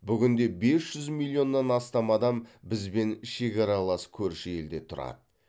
бүгінде бес жүз миллионнан астам адам бізбен шекаралас көрші елдерде тұрады